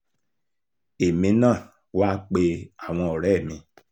èmi náà wàá pe àwọn ọ̀rẹ́ mi